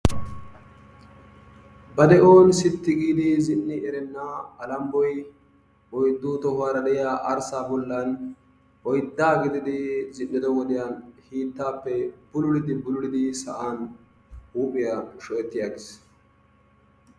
Ba de'on sitti giidi zin"i erenna Alambboy oyddu tohuwara de'iya alggaa bollan oyddaa gididi zin"ido wodiyan hiittaappe bululidi bululidi sa'an huuphiya shocetti aggiis.